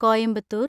Coimbatore